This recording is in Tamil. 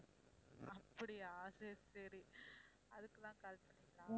அப்படியா சரி சரி அதுக்குதான் call பண்ணீங்களா